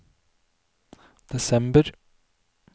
desember